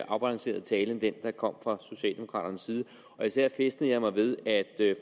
afbalanceret tale end den der kom fra socialdemokraternes side især fæstnede jeg mig ved at